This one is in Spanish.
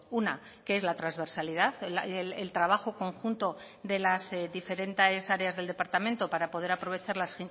una que es la transversalidad el trabajo conjunto de las diferentes áreas del departamento para poder aprovechar las